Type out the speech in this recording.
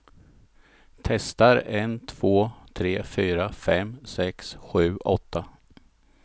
Testar en två tre fyra fem sex sju åtta.